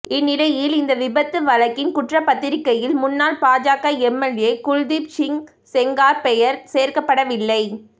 இந்நிலையில் இந்த விபத்து வழக்கின் குற்றப்பத்திரிக்கையில் முன்னாள் பாஜக எம்எல்ஏ குல்தீப் சிங் செங்கார் பெயர் சேர்க்கப்படவில்லை